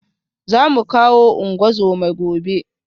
Za mu kawo ungozoma gobe